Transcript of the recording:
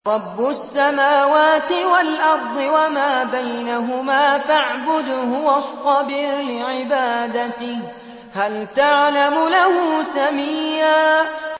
رَّبُّ السَّمَاوَاتِ وَالْأَرْضِ وَمَا بَيْنَهُمَا فَاعْبُدْهُ وَاصْطَبِرْ لِعِبَادَتِهِ ۚ هَلْ تَعْلَمُ لَهُ سَمِيًّا